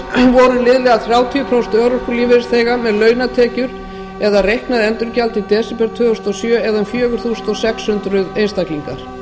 voru liðlega þrjátíu prósent örorkulífeyrisþega með launatekjur eða reiknað endurgjald í desember tvö þúsund og sjö eða um fjögur þúsund sex hundruð einstaklingar